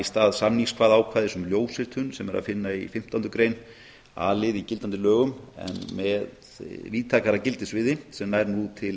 stað samningskvaðaákvæðis um ljósritun sem er að finna í a lið fimmtándu greinar í gildandi lögum en með víðtækara gildissviði sem nær nú til